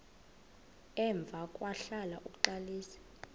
emva kwahlala uxalisa